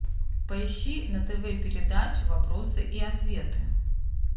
поищи на тв передачу вопросы и ответы